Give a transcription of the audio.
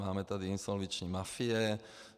Máme tady insolvenční mafie.